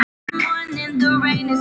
Friður á jörðu.